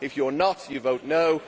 If you are not, you vote no'.